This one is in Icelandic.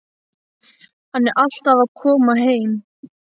Hann er alltaf að koma heim.